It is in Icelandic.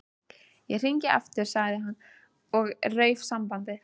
Ég hringi aftur sagði hann og rauf sambandið.